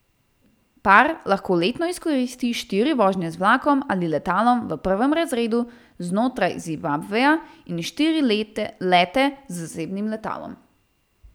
Par lahko letno izkoristi štiri vožnje z vlakom ali letalom v prvem razredu znotraj Zimbabveja in štiri lete z zasebnim letalom.